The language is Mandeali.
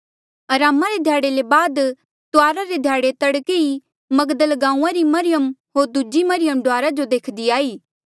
अरामा रे ध्याड़े ले बाद तुआरा रे ध्याड़े तड़के ई मगदल गांऊँआं री मरियम होर दूजी मरियम डुआरा जो देख्दी आई